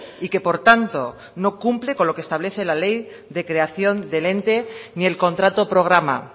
y que por tanto no cumple con lo que establece la ley de creación del ente ni el contrato programa